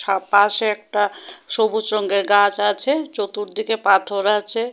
পাশে একটা সবুজ রঙের গাছ আছে চতুর দিকে পাথর আছে।